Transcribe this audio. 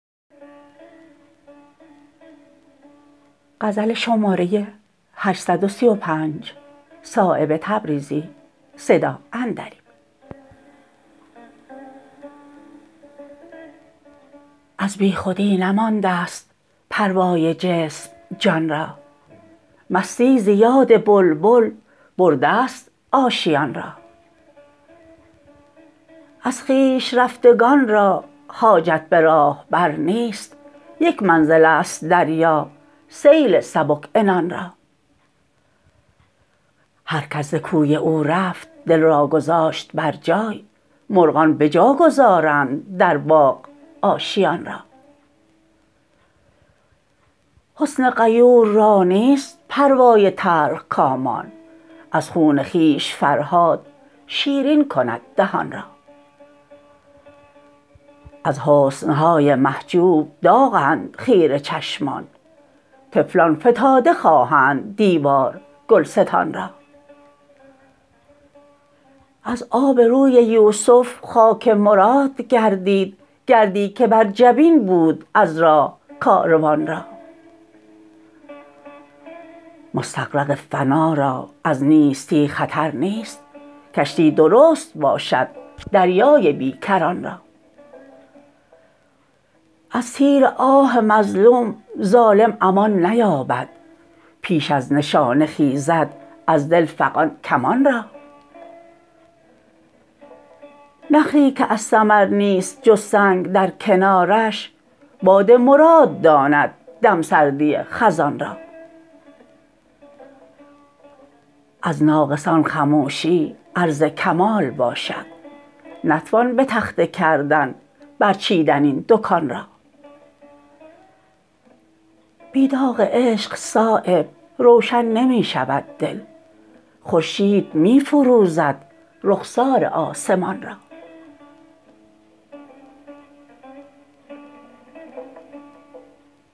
از بیخودی نمانده است پروای جسم جان را مستی ز یاد بلبل برده است آشیان را از خویش رفتگان را حاجت به راهبر نیست یک منزل است دریا سیل سبک عنان را هر کس ز کوی او رفت دل را گذاشت بر جای مرغان بجا گذارند در باغ آشیان را حسن غیور را نیست پروای تلخکامان از خون خویش فرهاد شیرین کند دهان را از حسن های محجوب داغند خیره چشمان طفلان فتاده خواهند دیوار گلستان را از آب روی یوسف خاک مراد گردید گردی که بر جبین بود از راه کاروان را مستغرق فنا را از نیستی خطر نیست کشتی درست باشد دریای بیکران را از تیر آه مظلوم ظالم امان نیابد پیش از نشانه خیزد از دل فغان کمان را نخلی که از ثمر نیست جز سنگ در کنارش باد مراد داند دمسردی خزان را از ناقصان خموشی عرض کمال باشد نتوان به تخته کردن برچیدن این دکان را بی داغ عشق صایب روشن نمی شود دل خورشید می فروزد رخسار آسمان را